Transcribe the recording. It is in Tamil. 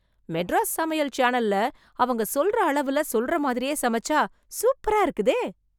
மெட்ராஸ் சமையல் சேனல்ல, அவங்க சொல்ற அளவுல, சொல்ற மாதிரியே சமைச்சா, சூப்பரா இருக்குதே...